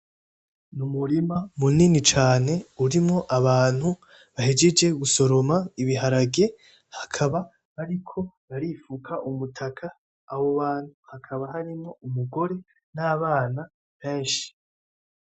N'umurima munini cane urimwo abantu bahejeje gusoroma ibiharage bakaba bariko barifuka umutaka, abo bantu hakaba harimwo umugore n'abana benshi.